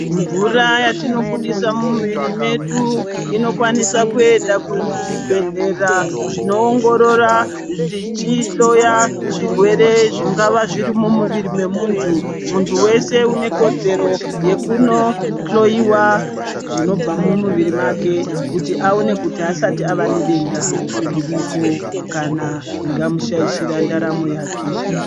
Mvura yatinobudisa mumuviri medu inokwanisa kuenda kuzvibhedhlera zvinoongorora zvichihloya zvirwere zvingava zviri mumuviri wemuntu. Muntu wese une kodzero yekunohloyiwa zvinobva mumuviri make kuti aone kuti haasati ava nedenda ririko kana ringamushaishira ndaramo yake.